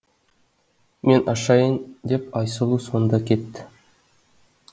мен ашайын деп айсұлу сонда кетті